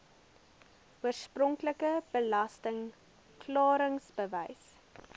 oorspronklike belasting klaringsbewys